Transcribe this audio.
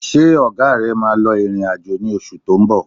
Ṣé ọ̀gá rẹ̀ máa lọ ìrìn-àjò ní oṣù tó ń bọ̀?